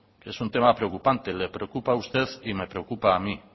es un tema preocupante le preocupa a usted y me preocupa a mí